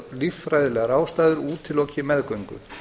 líffræðilegar ástæður útiloki meðgöngu